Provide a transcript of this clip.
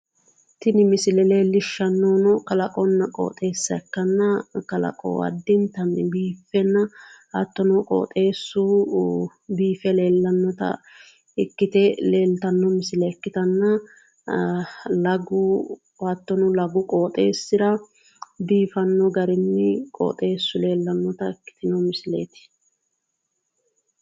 Tini misile leellishanohu kalaqonna qoxxeesa ikkittanna, lagu biifano garini leelishano misileti